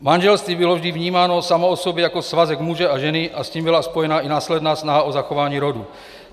Manželství bylo vždy vnímáno samo o sobě jako svazek muže a ženy a s tím byla spojena i následná snaha o zachování rodu.